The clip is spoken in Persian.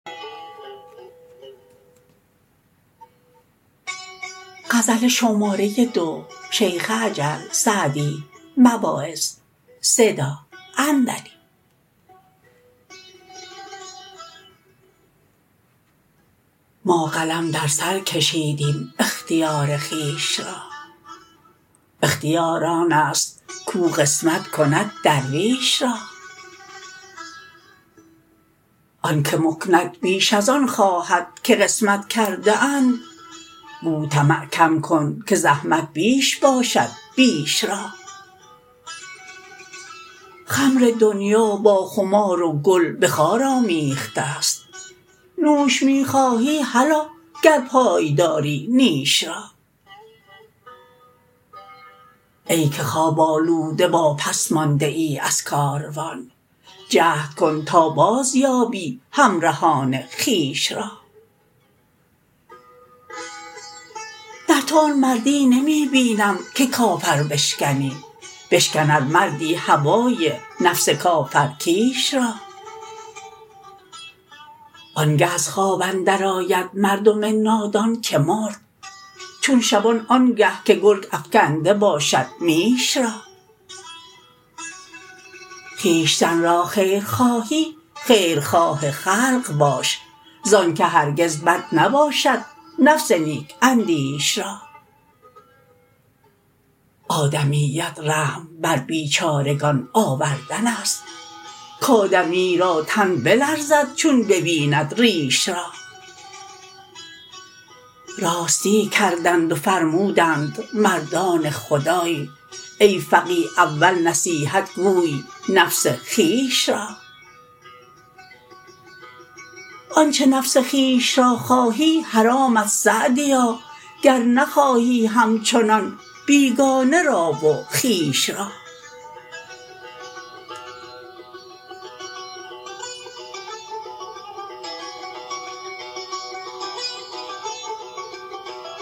ما قلم در سر کشیدیم اختیار خویش را اختیار آن است کاو قسمت کند درویش را آن که مکنت بیش از آن خواهد که قسمت کرده اند گو طمع کم کن که زحمت بیش باشد بیش را خمر دنیا با خمار و گل به خار آمیخته ست نوش می خواهی هلا گر پای داری نیش را ای که خواب آلوده واپس مانده ای از کاروان جهد کن تا بازیابی همرهان خویش را در تو آن مردی نمی بینم که کافر بشکنی بشکن ار مردی هوای نفس کافر کیش را آن گه از خواب اندر آید مردم نادان که مرد چون شبان آن گه که گرگ افکنده باشد میش را خویشتن را خیر خواهی خیرخواه خلق باش زآن که هرگز بد نباشد نفس نیک اندیش را آدمیت رحم بر بیچارگان آوردن است کآدمی را تن بلرزد چون ببیند ریش را راستی کردند و فرمودند مردان خدای ای فقیه اول نصیحت گوی نفس خویش را آنچه نفس خویش را خواهی حرامت سعدیا گر نخواهی همچنان بیگانه را و خویش را